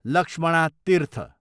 Lakshmana Tirtha